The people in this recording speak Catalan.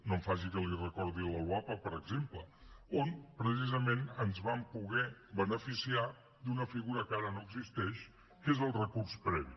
no em faci que li recordi la loapa per exemple on precisament ens vam poder beneficiar d’una figura que ara no existeix que és el recurs previ